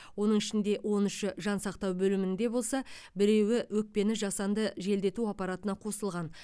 оның ішінде он үші жансақтау бөлімінде болса біреуі өкпені жасанды желдету аппаратына қосылған